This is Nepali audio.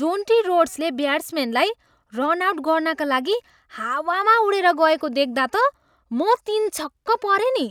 जोन्टी रोड्सले ब्याट्सम्यानलाई रन आउट गर्नाका लागि हावामा उडेर गएको देख्दा त म तिनछक्क परेँ नि।